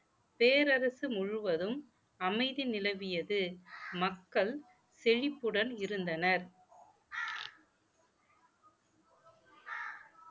பேரரசு முழுவதும் அமைதி நிலவியது மக்கள் செழிப்புடன் இருந்தனர்